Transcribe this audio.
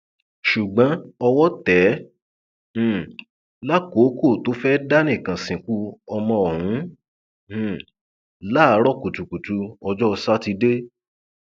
ṣùgbọn owó tẹ ẹ um lákòókò tó fẹẹ dá nìkan sìnkú ọmọ ọhún um láàárọ kùtùkùtù ọjọ sátidé